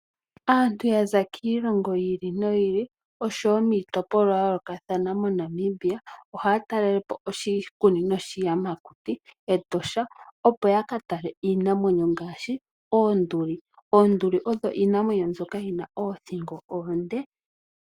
Aantu yaza kiilongo yiili noyili oshowoo kiitopolowa yayookathana moshilongo ohaya taalelepo oshikunino shiiyamakiti shEtosha National Park, opo yakatale iinamwenyo ngaashi oonduli. Oonduli odho iinamwenyo mbyoka yina oothingo oonde.